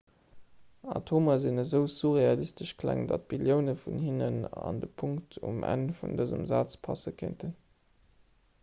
atomer sinn esou surrealistesch kleng datt billioune vun hinnen an de punkt um enn vun dësem saz passe kéinten